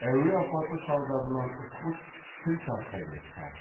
әуе апаты салдарынан ұшқыш тіл тартпай кетті